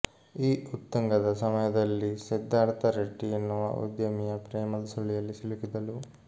ಈ ಉತ್ತುಂಗದ ಸಮಯದಲ್ಲಿ ಸಿದ್ದಾರ್ಥ ರೆಡ್ಡಿ ಎನ್ನುವ ಉದ್ಯಮಿಯ ಪ್ರೇಮದ ಸುಳಿಯಲ್ಲಿ ಸಿಲುಕಿದಳು